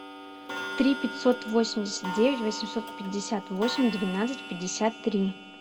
три пятьсот восемьдесят девять восемьсот пятьдесят восемь двенадцать пятьдесят три